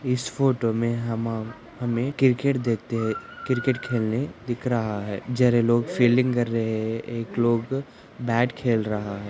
इस फोटो मैं हमें क्रिकेट दिख रहा है